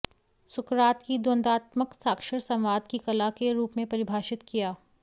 सुकरात की द्वंद्वात्मक साक्षर संवाद की कला के रूप में परिभाषित किया